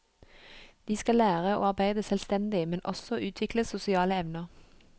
De skal lære å arbeide selvstendig, men også utvikle sosiale evner.